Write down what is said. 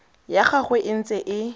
ya gagwe e ntse e